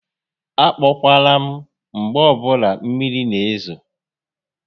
A kpọkwala m mgbe ọbụla mmiri n'ezo